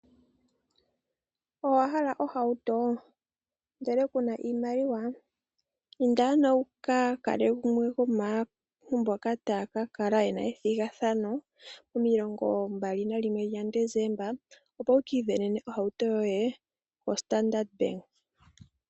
Owa hala ohauto ndele kuna iimaliwa? Inda ano wuka kale gumwe gwomaantu mboka taya ka kala yena ethigathano momilongo ndatu nalimwe gaDesemba opo wu kiisindanene ohauto yoye koStandard Bank.